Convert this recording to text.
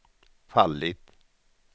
fallit